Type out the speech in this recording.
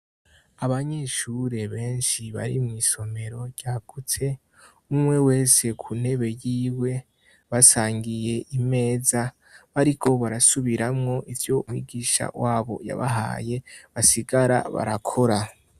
Abanyeshure benshi bari mw' isomero ryagutse umwe wese ku ntebe yiwe, basangiye imeza bariko barasubiramwo ivyo mwigisha wabo yabahaye basigara barakora.